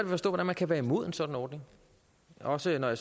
at forstå hvordan man kan være imod en sådan ordning også når